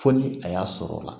Fo ni a y'a sɔrɔ la